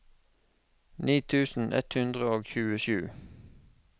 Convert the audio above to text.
ni tusen ett hundre og tjuesju